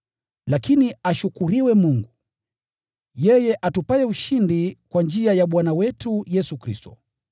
Lakini ashukuriwe Mungu, yeye atupaye ushindi kwa njia ya Bwana wetu Yesu Kristo.